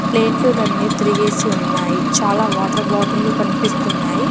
ప్లేట్లులన్ని తిరిగేసి ఉన్నాయి చాలా వాటర్ బాటిల్లు కనిపిస్తున్నాయి.